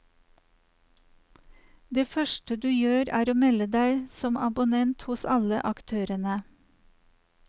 Det første du gjør er å melde deg som abonnent hos alle aktørene.